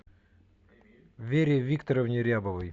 вере викторовне рябовой